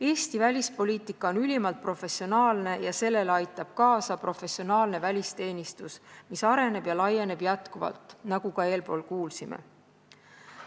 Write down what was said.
Eesti välispoliitika on ülimalt professionaalne ja sellele aitab kaasa professionaalne välisteenistus, mis areneb ja laieneb jätkuvalt, nagu ka eespool kuulsime.